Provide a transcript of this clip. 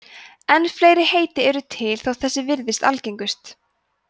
en fleiri heiti eru til þótt þessi virðist algengust